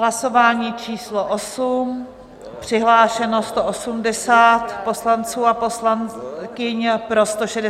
Hlasování číslo 8, přihlášeno 180 poslanců a poslankyň, pro 163, proti nikdo.